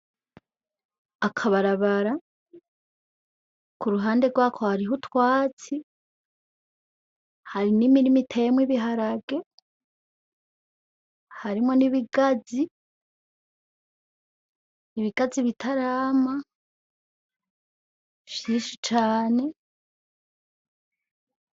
Akabarabara k'uruhande rwako harih'utwatsi hari n'imirima iteyemw'ibiharage ,harimwo n ibigazi ibigazi bitarama vyinshi cane .